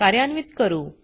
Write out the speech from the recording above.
कार्यान्वीत करू